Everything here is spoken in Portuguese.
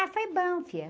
Ah, foi bom, filha.